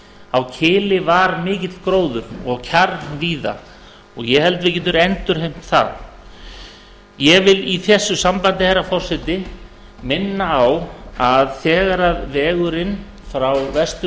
á kili var mikill gróður og kjarr víða og ég held að við getum endurheimt það ég vil í þessu sambandi herra forseti minna á að þegar vegurinn frá vestur